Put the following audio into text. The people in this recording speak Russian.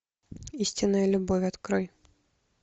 истинная любовь открой